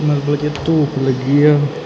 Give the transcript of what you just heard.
ਕਿ ਧੂਪ ਲੱਗੀ ਆ।